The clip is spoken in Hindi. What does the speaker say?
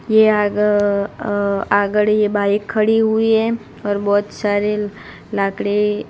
ये आग अ आगड ये बाइक खड़ी हुई है और बहोत सारे लाकडे --